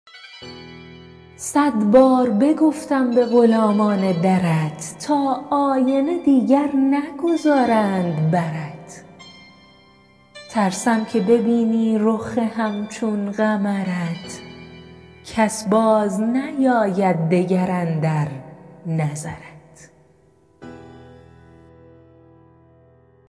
صد بار بگفتم به غلامان درت تا آینه دیگر نگذارند برت ترسم که ببینی رخ همچون قمرت کس باز نیاید دگر اندر نظرت